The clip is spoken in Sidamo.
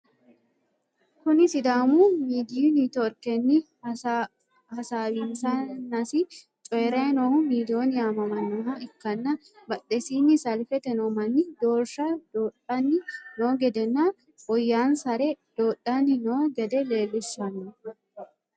Kuni sidaamu midiyu networkenni hasawinsannasi coyiray noohu Million yamamannoha ikkanna badhesinni salfete noo manni doorsha doodhanni no gede nna woyansare doodhanni no gede leellishshanno.